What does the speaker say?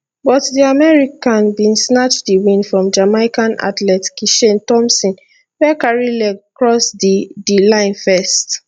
but di american bin snatch di win from jamaican athlete kishane thomson wey carry leg cross di di line first